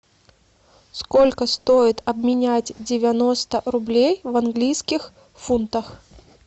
сколько стоит обменять девяносто рублей в английских фунтах